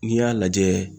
N'i y'a lajɛ